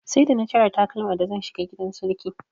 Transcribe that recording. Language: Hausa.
Sai da na cire takalma da zan shiga gidan sarki.